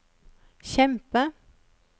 kjempe